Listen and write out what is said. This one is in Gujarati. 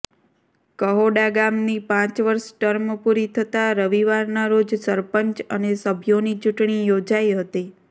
કહોડા ગામની પાંચ વર્ષ ટર્મ પૂરી થતાં રવિવારના રોજ સરપંચ અને સભ્યોની ચૂંટણી યોજાઈ હતી